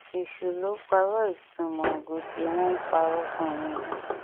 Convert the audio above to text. èṣù ló pààrọ ìtumọ gótè wọn ń parọ fún yín ni